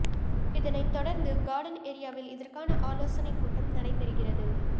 இதனை தொடர்ந்து கார்டன் ஏரியாவில் இதற்கான ஆலோசனை கூட்டம் நடைபெறுகிறது